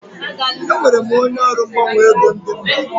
Enwere m onye ọrụ mgbanwe ego ndi mba.